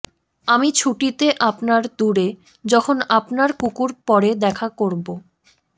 আমি ছুটিতে আপনার দূরে যখন আপনার কুকুর পরে দেখা করব